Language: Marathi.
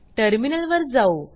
टर्मिनल वर जाऊ